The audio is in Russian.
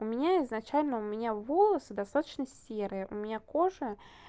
у меня изначально у меня волосы достаточно серые у меня кожа